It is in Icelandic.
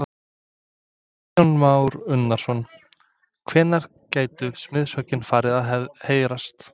Kristján Már Unnarsson: Hvenær gætu smiðshöggin farið að heyrast?